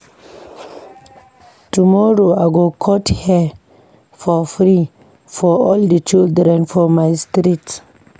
Tomorrow, I go cut hair for free for all di children for my street.